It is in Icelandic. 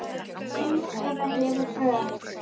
Nú eða hefur þau ekki.